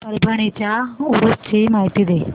परभणी च्या उरूस ची माहिती दे